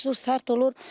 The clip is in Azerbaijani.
Qış sərt olur.